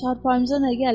çarpayımıza nə gəlib?